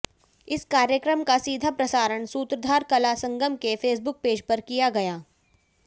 इस कार्यक्रम का सीधा प्रसारण सूत्रधार कला संगम के फेसबुक पेज पर किया गया